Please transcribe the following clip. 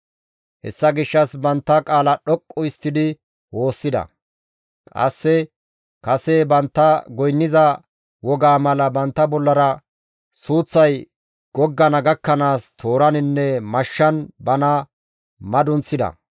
Hessa gishshas bantta qaala dhoqqu histtidi woossida. Qasse kase bantta goynniza wogaa mala bantta bollara suuththay goggana gakkanaas tooraninne mashshan bana madunththida.